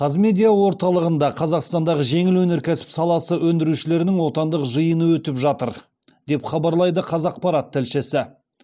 қазмедиа орталығында қазақстандағы жеңіл өнеркәсіп саласы өндірушілерінің отандық жиыны өтіп жатыр деп хабарлайды қазақпарат тілшісі